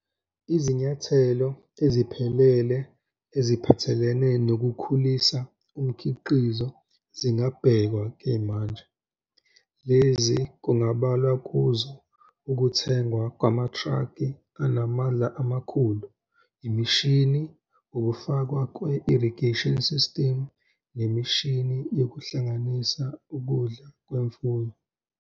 Izinyathelo eziphelele eziphathelene nokukhulisa umkhiqizo zingabhekwa-ke manje. Lezi kungabalwa kuzo ukuthengwa kwamatraki anamandla amakhulu, imishini, ukufakwa kwe-irrigation system, nemishini yokuhlanganisa ukudla kwemfuyo.